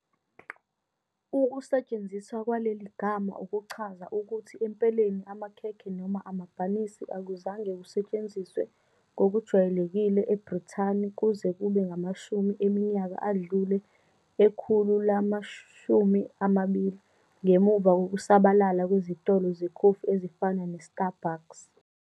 Ukusetshenziswa kwaleli gama ukuchaza ukuthi empeleni amakhekhe noma amabhanisi akuzange kusetshenziswe ngokujwayelekile eBrithani kuze kube ngamashumi eminyaka adlule ekhulu lama-20 ngemuva kokusabalala kwezitolo zekhofi ezifana ne- Starbucks.